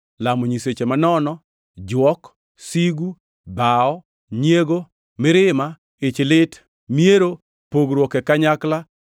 lamo nyiseche manono, jwok, sigu, dhawo, nyiego, mirima, ichlit, miero; pogruok e kanyakla,